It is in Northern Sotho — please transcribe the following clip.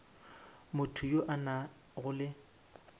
motho yo a nago le